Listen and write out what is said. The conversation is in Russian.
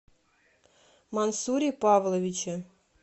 мансуре павловиче